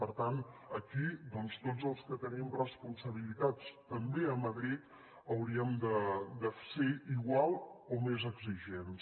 per tant aquí doncs tots els que tenim responsabilitats també a madrid hauríem de ser igual o més exigents